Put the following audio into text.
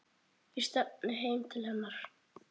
Ég stefni heim til hennar.